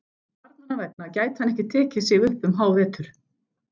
Barnanna vegna gæti hann ekki tekið sig upp um hávetur.